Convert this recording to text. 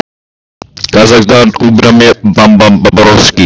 Hann er ekki algjör nýgræðingur í stjórn spítalans eða hvað?